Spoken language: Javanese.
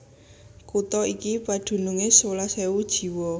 Kutha iki padunungé sewelas ewu jiwa